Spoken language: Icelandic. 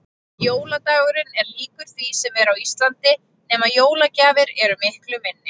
Jóladagurinn er líkur því sem er á Íslandi nema jólagjafir eru miklu minni.